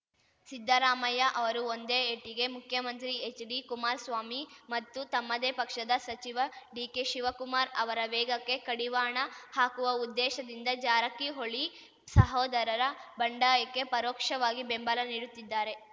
ಸಿದ್ದರಾಮಯ್ಯ ಅವರು ಒಂದೇ ಏಟಿಗೆ ಮುಖ್ಯಮಂತ್ರಿ ಎಚ್‌ಡಿಕುಮಾರಸ್ವಾಮಿ ಮತ್ತು ತಮ್ಮದೇ ಪಕ್ಷದ ಸಚಿವ ಡಿಕೆಶಿವಕುಮಾರ್ ಅವರ ವೇಗಕ್ಕೆ ಕಡಿವಾಣ ಹಾಕುವ ಉದ್ದೇಶದಿಂದ ಜಾರಕಿಹೊಳಿ ಸಹೋದರರ ಬಂಡಾಯಕ್ಕೆ ಪರೋಕ್ಷವಾಗಿ ಬೆಂಬಲ ನೀಡುತ್ತಿದ್ದಾರೆ